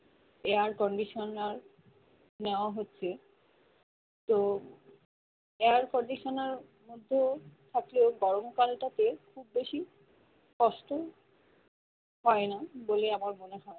Air conditioner নেওয়া হচ্ছে তো air conditioner মধ্যে থাকলেও গরমকাল টাতে খুব বেশি কষ্ট হয়না বলে আমার মনে হয়